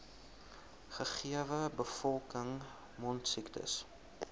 gegewe bevolking mondsiektes